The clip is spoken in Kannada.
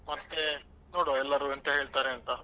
ಮತ್ತೆ ನೋಡ್ವಾ, ಎಲ್ಲರೂ ಎಂತ ಹೇಳ್ತಾರೆ ಅಂತ.